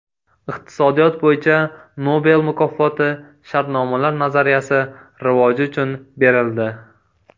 Iqtisodiyot bo‘yicha Nobel mukofoti shartnomalar nazariyasi rivoji uchun berildi.